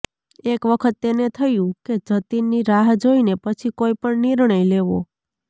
એક વખત તેને થયું કે જતીનની રાહ જોઈને પછી કોઈપણ નિર્ણય લેવો